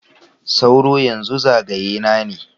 Sauro, yanzu zagaye na ne.